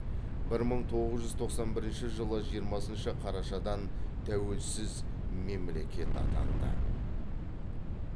бір мың тоғыз жүз тоқсан бірінші жылы жиырмасыншы қарашадан тәуелсіз мемлекет атанды